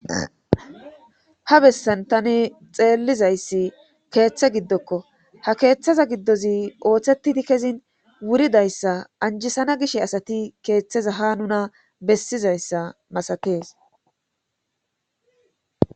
ha bessan tani xeellizayssi keeththe giddokko ha keeththaza giddozi ooththetidi kezin wuridayssa anjisana gish asati keeththeza ha nuna bessizayssa masatees.